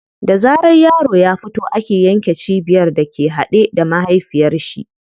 Da zaran yaro ya fito ake yanke cibiyar da ke haɗe da mahaifiyar shi.